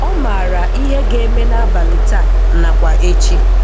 Ọ maara ihe ị ga-eme n'abalị taa nakwa echi.